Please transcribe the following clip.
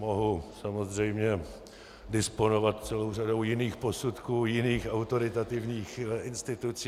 Mohu samozřejmě disponovat celou řadou jiných posudků jiných autoritativních institucí.